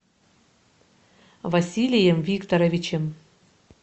василием викторовичем